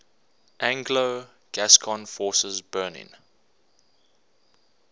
anglo gascon forces burning